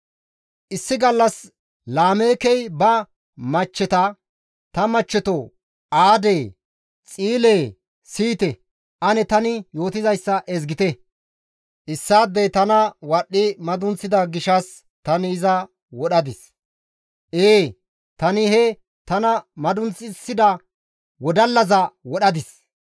Issi gallas Laameekey ba machcheta, «Ta machcheto Aadee, Xiilee siyite! Ane tani yootizayssa ezgite. Issi asi tana wadhdhi madunththida gishshas tani iza wodhadis; ee, tani he tana madunxissida wodallaza wodhadis.